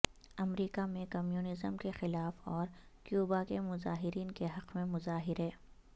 امریکہ میں کمیونزم کے خلاف اور کیوبا کے مظاہرین کے حق میں مظاہرے